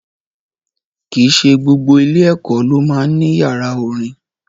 Kì í ṣe gbogbo ilé-ẹ̀kọ́ ló máa ń ní yàrá orin.